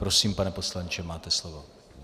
Prosím, pane poslanče, máte slovo.